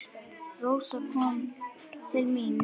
Rósa kom til mín.